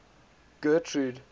getrude